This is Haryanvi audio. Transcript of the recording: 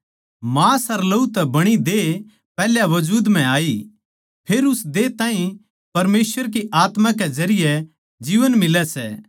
मांस अर लहू तै बणी देह पैहल्या वजूद म्ह आई फेर उस देह ताहीं परमेसवर की आत्मा के जरिये जीवन मिलै सै